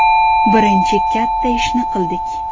Birinchi katta ishni qildik.